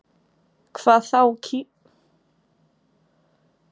Hvað þá kísilflaga?